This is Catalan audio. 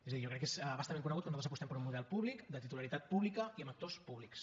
és a dir jo crec que és a bastament conegut que nosaltres apostem per un model públic de titularitat pública i amb actors públics